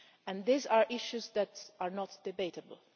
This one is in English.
and these are issues that are not debatable.